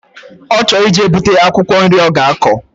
Ochor ije buta akwukwo nri oga ako